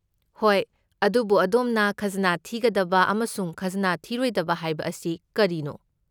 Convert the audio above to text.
ꯍꯣꯏ, ꯑꯗꯨꯕꯨ ꯑꯗꯣꯝꯅ 'ꯈꯖꯅꯥ ꯊꯤꯒꯗꯕ' ꯑꯃꯁꯨꯡ 'ꯈꯖꯅꯥ ꯊꯤꯔꯣꯏꯗꯕ' ꯍꯥꯏꯕ ꯑꯁꯤ ꯀꯔꯤꯅꯣ?